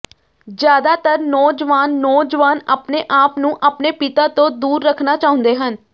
ਜ਼ਿਆਦਾਤਰ ਨੌਜਵਾਨ ਨੌਜਵਾਨ ਆਪਣੇ ਆਪ ਨੂੰ ਆਪਣੇ ਪਿਤਾ ਤੋਂ ਦੂਰ ਰੱਖਣਾ ਚਾਹੁੰਦੇ ਹਨ